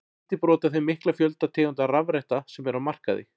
Lítið brot af þeim mikla fjölda tegunda rafretta sem eru á markaði.